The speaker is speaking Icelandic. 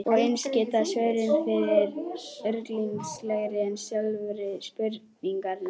Og eins geta svörin verið ruglingslegri en sjálfar spurningarnar.